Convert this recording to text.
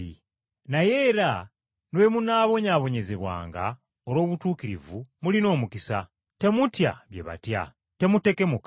Naye era ne bwe munaabonyaabonyezebwanga olw’obutuukirivu, mulina omukisa. “Temutya bye batya; temutekemuka.”